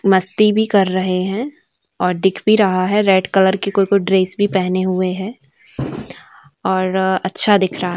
मस्ती भी कर रहे है और दिख भी रहा है रेड कलर की कोई कोई ड्रेस भी पहने हुए है और अच्छा दिख रहा--